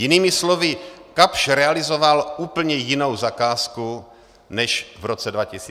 Jinými slovy, Kapsch realizoval úplně jinou zakázku, než v roce 2006 vysoutěžil.